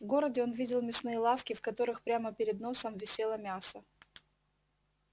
в городе он видел мясные лавки в которых прямо перед носом висело мясо